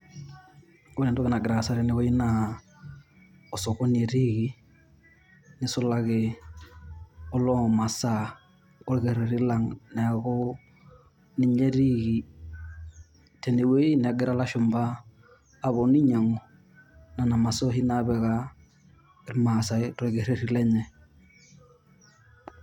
Ore entoki nagira aasa tenewueji naa osokoni etiiki, neisulaki oloo masaa orkerreri lang' neeku ninye etiiki tenewueji negira ilashumba aponu ainyinag'u nena masaa naapika irmaasai torkerreri lenye.